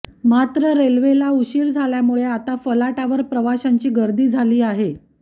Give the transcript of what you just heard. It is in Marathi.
मात्र रेल्वे उशीरा झाल्यामुळे आता फलाटावर प्रवाशांची गर्दी झाली आहे